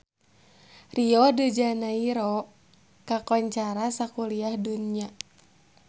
Rio de Janairo kakoncara sakuliah dunya